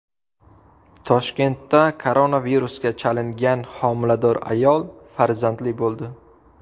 Toshkentda koronavirusga chalingan homilador ayol farzandli bo‘ldi.